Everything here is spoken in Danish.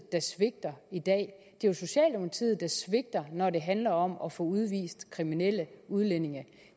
der svigter i dag det er socialdemokratiet der svigter når det handler om at få udvist kriminelle udlændinge